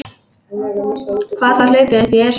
Hvað þá hlaupið upp Esjuna.